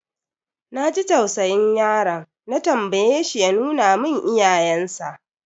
Na ji tausayin yaron, na tambaye shi ya nuna mun iyayensa.